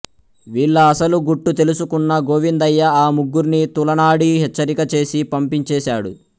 వీళ్ళ అసలు గుట్టు తెలుసుకున్న గోవిందయ్య ఆ ముగ్గుర్ని తూలనాడి హెచ్చరిక చేసి పంపించేశాడు